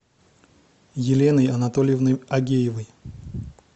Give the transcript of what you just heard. еленой анатольевной агеевой